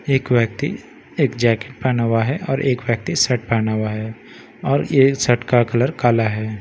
एक व्‍यक्ति एक जैकेट पेहना हुआ है और एक व्‍यक्ति शर्ट पेहना हुआ है और ये शर्ट का कलर काला है।